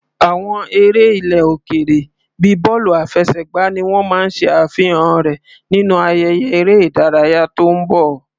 Àwọn eré ilẹ̀ òkèèrè bíi bọ́ọ̀lù àfẹsẹ̀gbá ni wọ́n máa ṣe àfihàn rẹ̀ nínú ayẹyẹ eré ìdárayá tó ń bọ̀.